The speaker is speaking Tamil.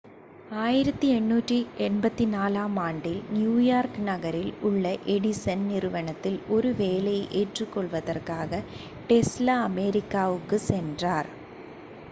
1884 ஆம் ஆண்டில் நியூயார்க் நகரில் உள்ள எடிசன் நிறுவனத்தில் ஒரு வேலையை ஏற்றுக்கொள்வதற்காக டெஸ்லா அமெரிக்காவிற்கு சென்றார்